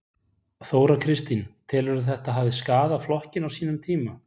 Þóra Kristín: Telurðu að þetta hafi skaðað flokkinn á sínum tíma?